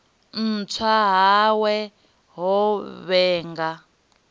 u tswa hawe ho vhanga